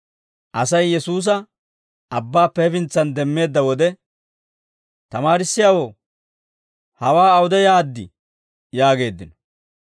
Asay Yesuusa abbaappe hefintsan demmeedda wode, «Tamaarissiyaawoo, hawaa awude yaaddii?» yaageeddino.